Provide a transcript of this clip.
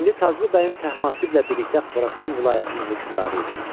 İndi Taclı bəyim Təhmasiblə birlikdə Xorasan vilayətinin hökmdarı idi.